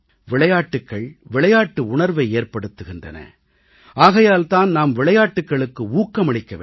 விளையாட்டுக்கள் விளையாட்டு உணர்வை ஏற்படுத்துகின்றன ஆகையால் தான் நாம் விளையாட்டுக்களுக்கு ஊக்கமளிக்க வேண்டும்